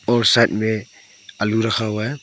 और साइड में आलू रखा हुआ है।